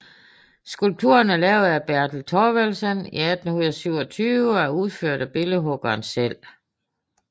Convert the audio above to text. Skulpturen er lavet af Bertel Thorvaldsen i 1827 og er udført af billedhuggeren selv